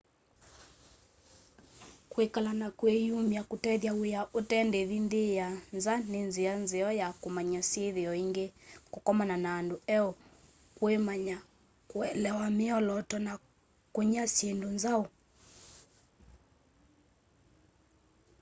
kwikala na kwiyumwa kutethya wia ute ndivi nthi sya nza ni nzia nzeo ya kumanya syithio ingi kukomana na andu eu kwimanya kuelewa miolooto na kunya syindu nzau